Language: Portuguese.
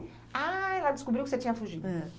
Ah, ela descobriu que você tinha fugido. É.